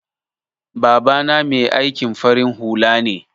Baba na Mai aikin farin hula ne.